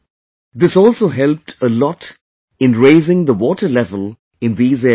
This also helped a lot in raising the water level in these areas